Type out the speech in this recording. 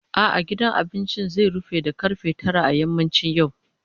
A'a, gidan cin abinci zai rufe da ƙarfe tara a yammacin yau.